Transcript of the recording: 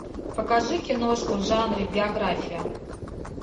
покажи киношку в жанре биография